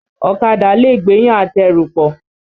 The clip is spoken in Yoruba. Ọ̀kadà lẹ̀ gbéyàn àtẹrù pọ̀.